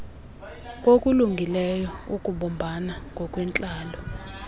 kokulungileyo ukubumbana ngokwentlalo